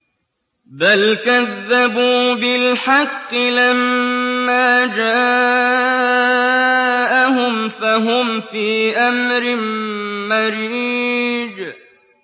بَلْ كَذَّبُوا بِالْحَقِّ لَمَّا جَاءَهُمْ فَهُمْ فِي أَمْرٍ مَّرِيجٍ